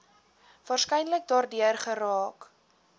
waarskynlik daardeur geraak